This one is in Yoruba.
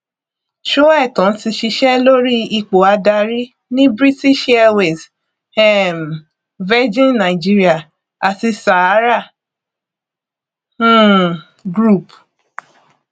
sóẹtàn ti ṣiṣẹ lórí ipò adarí ní british airways um virgin nigeria àti sahara um group